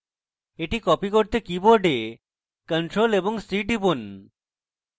এখন এটি copy করতে keyboard ctrl + c টিপুন